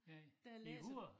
Ja i hovedet